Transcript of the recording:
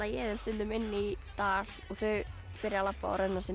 ég þeim stundum inn í dal og þau byrja að labba og renna sér